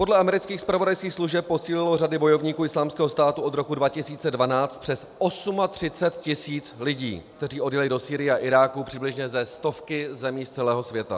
Podle amerických zpravodajských služeb posílilo řady bojovníků Islámského státu od roku 2012 přes 38 tisíc lidí, kteří odjeli do Sýrie a Iráku přibližně ze stovky zemí z celého světa.